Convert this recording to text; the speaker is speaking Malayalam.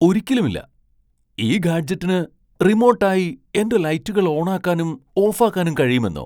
ഒരിക്കലുമില്ല ! ഈ ഗാഡ്ജെറ്റിന് റിമോട്ട് ആയി എന്റെ ലൈറ്റുകൾ ഓണാക്കാനും ഓഫാക്കാനും കഴിയുമെന്നൊ ?